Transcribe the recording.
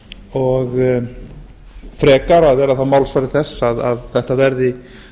og frekar að vera þá málsvari þess að þetta verði